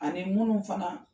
Ani minu fana